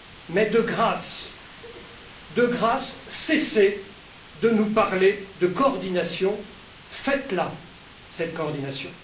Mais, de grâce, cessez de nous parler de coordination, faites la, cette coordination!